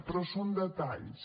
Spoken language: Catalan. però són detalls